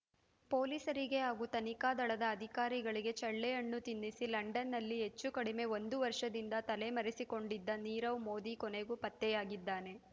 ಪೊಲೀಸರಿಗೆ ಹಾಗೂ ತನಿಖಾ ದಳದ ಅಧಿಕಾರಿಗಳಿಗೆ ಚಳ್ಳೆಹಣ್ಣು ತಿನ್ನಿಸಿ ಲಂಡನ್‌ನಲ್ಲಿ ಹೆಚ್ಚು ಕಡಿಮೆ ಒಂದು ವರ್ಷದಿಂದ ತಲೆಮರೆಸಿಕೊಂಡಿದ್ದ ನೀರವ್ ಮೋದಿ ಕೊನೆಗೂ ಪತ್ತೆಯಾಗಿದ್ದಾನೆ